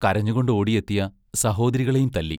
കരഞ്ഞുകൊണ്ട് ഓടിയെത്തിയ സഹോദരികളേയും തല്ലി.